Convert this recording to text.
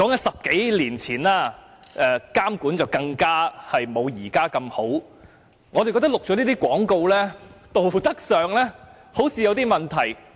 十多年前，政府的監管更沒有現時般完善，我們認為錄製這些廣告，在道德上好像有問題。